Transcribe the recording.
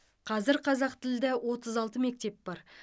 қазір қазақтілді отыз алты мектеп бар